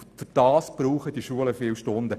Dafür brauchen die Schulen viele Stunden.